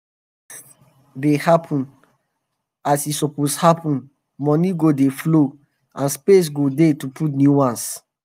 when harvest dey happen happen as e suppose happen money go dey flow and space go dey to put new ones. um